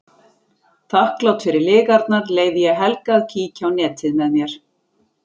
Þakklát fyrir lygarnar leyfi ég Helga að kíkja á netið með mér.